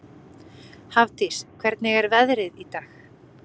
Hafdís, hvernig er veðrið í dag?